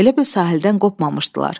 Elə bil sahildən qopmamışdılar.